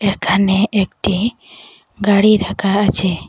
এখানে একটি গাড়ি রাখা আছে।